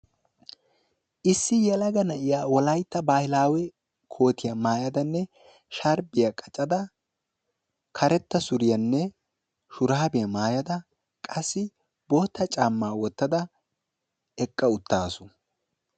Issi yelaga na"iya Wolaytta bahilaawe kootiya maayadanne sharbbiya qacada karetta suriyaanne shuraabiya maayada qasi bootta caammaa wottada eqqa uttasu.